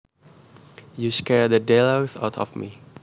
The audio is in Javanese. You scared the daylights out of me